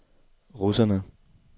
russerne